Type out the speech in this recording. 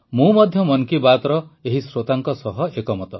ମୁଁ ମଧ୍ୟ ମନ୍ କୀ ବାତର ଏହି ଶ୍ରୋତାଙ୍କ ସହ ଏକମତ